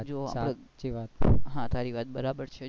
હા તારી વાત બરાબર છે